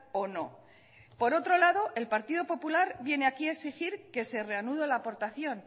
o no por otro lado el partido popular viene aquí a exigir que se reanude la aportación